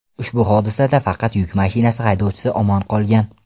Ushbu hodisada faqat yuk mashinasi haydovchisi omon qolgan.